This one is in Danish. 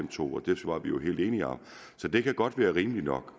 to og det var vi jo helt enige om så det kan godt være rimeligt nok